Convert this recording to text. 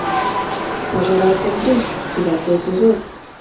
пожиратель душ девятый эпизод